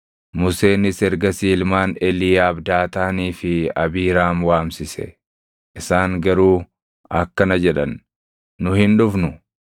Museenis ergasii ilmaan Eliiyaab Daataanii fi Abiiraam waamsise. Isaan garuu akkana jedhan; “Nu hin dhufnu!